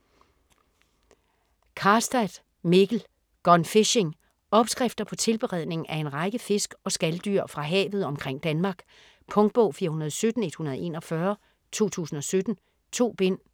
Karstad, Mikkel: Gone fishing Opskrifter på tilberedning af en række fisk og skaldyr fra havet omkring Danmark. Punktbog 417141 2017. 2 bind.